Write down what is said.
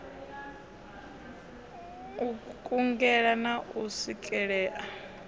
u kungela na u swikelea